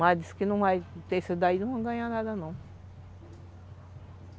Mas diz que não vai ter isso daí, não vão ganhar nada não.